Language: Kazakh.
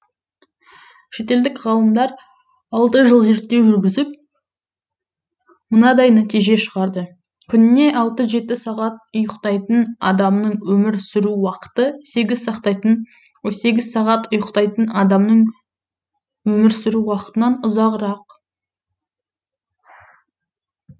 шетелдік ғалымдар алты жыл зерттеу жүргізіп мынандай нәтиже шығарды күніне алты жеті сағат ұйықтайтын адамның өмір сүру уақыты сегіз сағат сегіз сағат ұйықтайтын адамның өмір сүру уақытынан ұзағырақ